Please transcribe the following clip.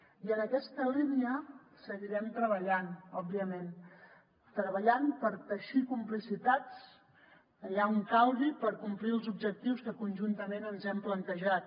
i en aquesta línia seguirem treballant òbviament treballant per teixir complicitats allà on calgui per complir els objectius que conjuntament ens hem plantejat